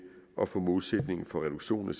at få målsætningen for reduktion